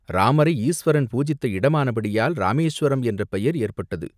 இராமரை ஈசுவரன் பூஜித்த இடமானபடியால் இராமேசுவரம் என்ற பெயர் ஏற்பட்டது!